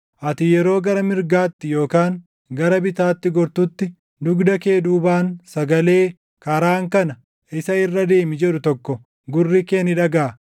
Ati yeroo gara mirgaatti yookaan gara bitaatti gortutti, dugda kee duubaan sagalee, “Karaan kana; isa irra deemi” jedhu tokko gurri kee ni dhagaʼa.